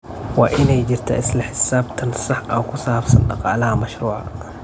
Waa inay jirtaa isla xisaabtan sax ah oo ku saabsan dhaqaalaha mashruuca.